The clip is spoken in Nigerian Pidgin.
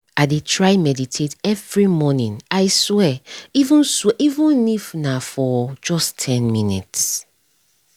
i dey try meditate every morning i swear even swear even if na for just ten minutes